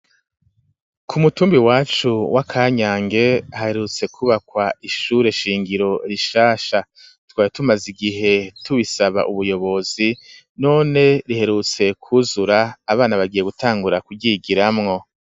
Ku mutumba iwacu wa Kanyange haherutse ku bakwa ishure shingiro rishasha twari tumaze igihe tubisaba ubuyobozi none riherutse kuzura abana bagiye gutangura ku ryigiramwo.